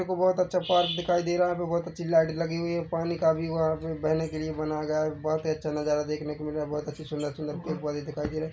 एक बहोत अच्छा पार्क दिखाई दे रहा है यहाँ पर बहुत अच्छी लाइट लगी हुई है पानी का भी वहाँ पे बहने के लिए बनाया गया है बहुत ही अच्छा नजारा देखने को मिल रहा है बहोत अच्छी सुंदर-सुंदर पेड़ पौधे दिखाई दे रहे है।